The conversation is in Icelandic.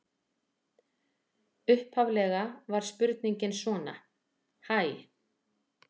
Upphaflega var spurningin svona: Hæ.